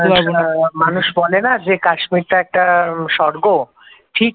বলে না যে কাশ্মীর টা একটা স্বর্গ ঠিক